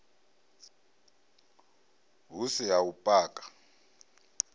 hu si a u paka